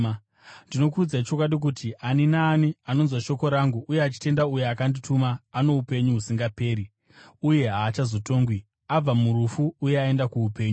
“Ndinokuudzai chokwadi kuti, ani naani anonzwa shoko rangu uye achitenda uyo akandituma, ano upenyu husingaperi uye haachazotongwi, abva murufu uye aenda kuupenyu.